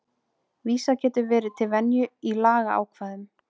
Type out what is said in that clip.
vísað getur verið til venju í lagaákvæðum